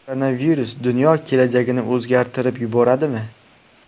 Koronavirus dunyo kelajagini o‘zgartirib yuboradimi?